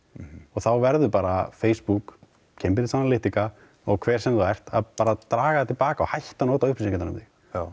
þá verður bara Facebook Cambridge Analytica og hver sem þú ert að bara draga það til baka og hætta nota upplýsingar um þig